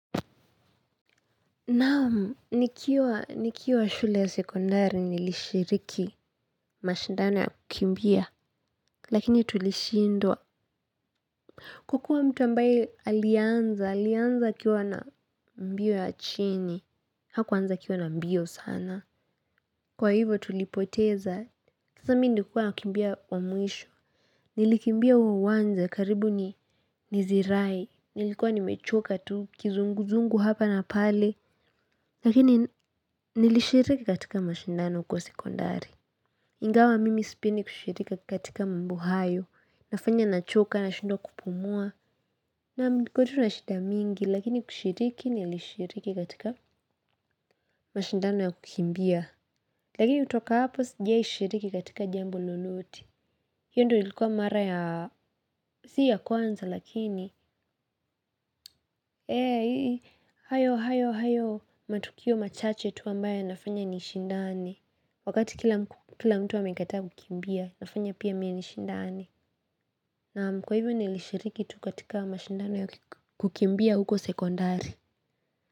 Naam, nikiwa nikiwa shule ya sekondari nilishiriki mashindano ya kukimbia, lakini tulishindwa. Kukua mtu ambaye alianza, alianza akiwa na mbio ya chini, hakuanza akiwa na mbio sana. Kwa hivyo tulipoteza, kisa mi nilikuwa nakimbia wa mwisho, nilikimbia huo uwanja karibu ni nizirai, nilikuwa nimechoka tu, kizunguzungu hapa na pale. Lakini nilishiriki katika mashindano kwa sekondari. Ingawa mimi sipendi kushiriki katika maombi hayo. Nafanya nachoka nashindwa kupumua. Naam niko tu na shida mingi lakini kushiriki nilishiriki katika mashindano ya kukimbia. Lakini kutoka hapo sijaishiriki katika jambo lolote. Hiyo ndio ilikuwa mara ya si ya kwanza lakini ee, hayo hayo hayo matukio machache tu ambayo yanafanya nishindane. Wakati kila mtu amekataa kukimbia, inafanya pia mie nishindane. Naam. Kwa hivyo nilishiriki tu katika mashindano ya kukimbia huko sekondari.